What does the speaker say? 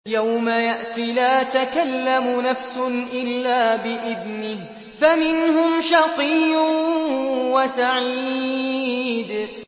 يَوْمَ يَأْتِ لَا تَكَلَّمُ نَفْسٌ إِلَّا بِإِذْنِهِ ۚ فَمِنْهُمْ شَقِيٌّ وَسَعِيدٌ